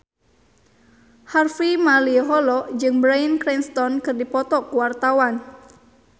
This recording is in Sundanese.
Harvey Malaiholo jeung Bryan Cranston keur dipoto ku wartawan